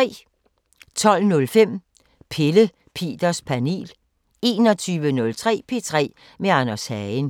12:05: Pelle Peters Panel 21:03: P3 med Anders Hagen